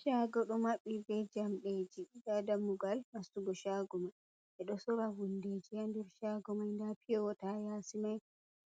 Shago do mabbi be jamdeji. Ɗa dammugal nastugo shago ma. Be do sora hundeji ha nder shago mai. Ɗa piyowata ya yasi mai.